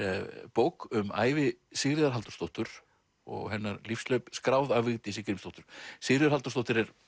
bók um ævi Sigríðar Halldórsdóttur og hennar lífshlaup skráð af Vigdísi Grímsdóttur Sigríður Halldórsdóttir er